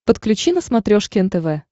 подключи на смотрешке нтв